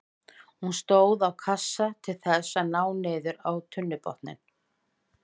Hún stóð á kassa til þess að ná niður á tunnubotninn.